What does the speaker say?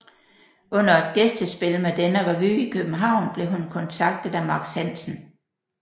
Under et gæstespil med denne revy i København blev hun kontaktet af Max Hansen